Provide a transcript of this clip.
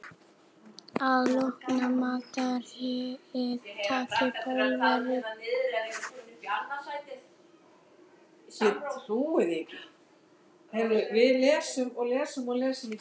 Að loknu matarhléi taka Pólverjarnir aftur til við drykkju.